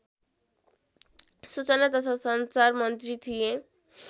सूचना तथा सञ्चार मन्त्री थिए